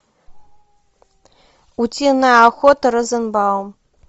утиная охота розенбаум